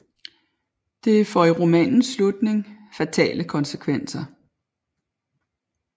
Det får i romanens slutning fatale konsekvenser